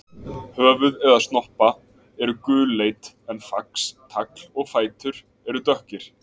Höfuð eða snoppa eru gulleit en fax, tagl og fætur eru dökkir.